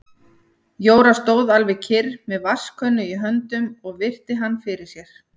Jóra stóð alveg kyrr með vatnskönnu í höndunum og virti hann fyrir sér.